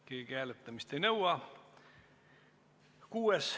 Keegi hääletamist ei nõua.